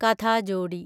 കഥാജോഡി